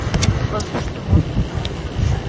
воздушный мост